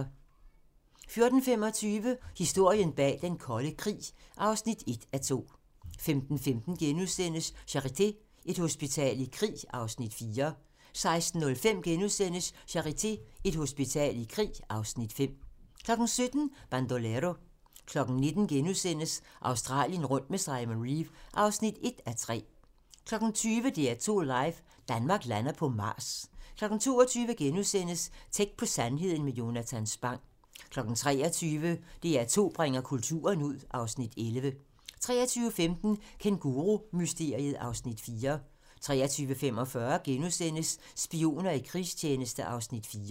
14:25: Historien bag den kolde krig (1:2) 15:15: Charité - et hospital i krig (Afs. 4)* 16:05: Charité - Et hospital i krig (Afs. 5)* 17:00: Bandolero 19:00: Australien rundt med Simon Reeve (1:3)* 20:00: DR2 live - Danmark lander på Mars 22:00: Tæt på sandheden med Jonatan Spang * 23:00: DR2 bringer kulturen ud (Afs. 11) 23:15: Kængurumysteriet (Afs. 4) 23:45: Spioner i krigstjeneste (Afs. 4)*